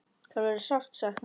Sem verður sárt saknað.